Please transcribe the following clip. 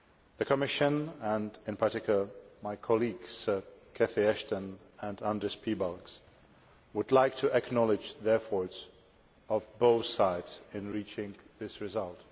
The Commission and in particular my colleagues Cathy Ashton and Andris Piebalgs would like to acknowledge the efforts of both sides in reaching this result.